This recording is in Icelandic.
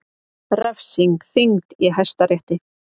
Refsing þyngd í Hæstarétti